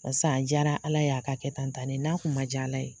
Barisa a jaara Ala ye a ka kɛ tan tan ne n'a kun man jaa Ala ye